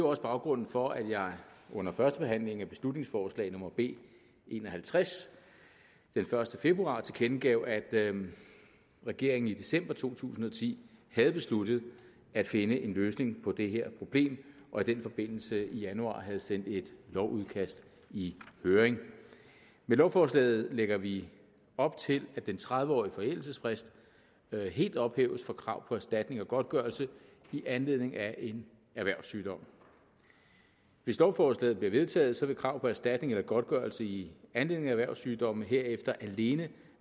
også baggrunden for at jeg under første behandling af beslutningsforslag nummer b en og halvtreds den første februar tilkendegav at regeringen i december to tusind og ti havde besluttet at finde en løsning på det her problem og i den forbindelse i januar havde sendt et lovudkast i høring med lovforslaget lægger vi op til at den tredive årige forældelsesfrist helt ophæves for krav på erstatning og godtgørelse i anledning af en erhvervssygdom hvis lovforslaget bliver vedtaget vil krav på erstatning eller godtgørelse i anledning af erhvervssygdomme herefter alene